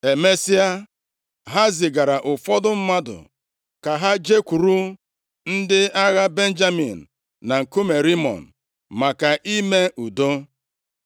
Emesịa, ha zigara ụfọdụ mmadụ ka ha jekwuru ndị agha Benjamin na nkume Rimọn maka ime udo.